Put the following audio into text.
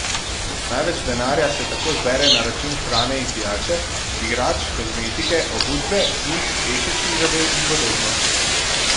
Največ denarja se tako zbere na račun hrane in pijače, igrač, kozmetike, obutve, knjig, tehničnih zadev in podobno.